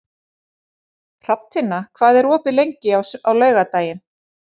Hrafntinna, hvað er opið lengi á laugardaginn?